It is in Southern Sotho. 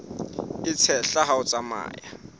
e tshehla ha o tsamaya